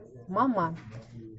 мама